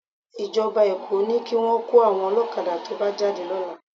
Ìjọba Èkó ní kí wọn kó àwọn ọlọ́kadà tó bá jáde lọ́la